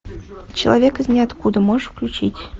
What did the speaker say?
человек из ниоткуда можешь включить